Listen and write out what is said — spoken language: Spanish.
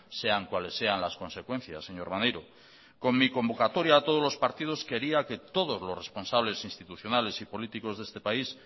sean cuales sean las consecuencias señor maneiro con mi convocatoria a todos los partidos quería que todos los responsables institucionales y políticos de este país